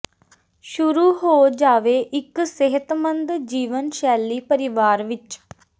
ਸ਼ੁਰੂ ਹੋ ਜਾਵੇ ਇੱਕ ਸਿਹਤਮੰਦ ਜੀਵਨ ਸ਼ੈਲੀ ਪਰਿਵਾਰ ਵਿਚ